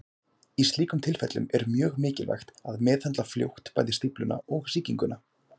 Í slíkum tilfellum er mjög mikilvægt að meðhöndla fljótt bæði stífluna og sýkinguna.